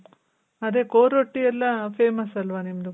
ಅದೆ ಕೋರೊಟ್ಟಿ ಎಲ್ಲಾ famous ಅಲ್ವ ನಿಮ್ದು